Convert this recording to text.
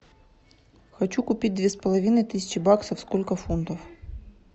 хочу купить две с половиной тысячи баксов сколько фунтов